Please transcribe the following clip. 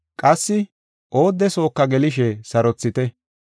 Qassi oodde sooka gelishe sarothite.